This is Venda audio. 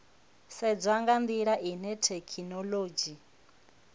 sedzwa nga ndila ine thekhinolodzhi